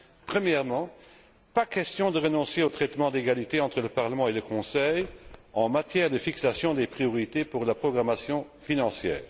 Premièrement pas question de renoncer au traitement d'égalité entre le Parlement et le Conseil en matière de fixation des priorités pour la programmation financière.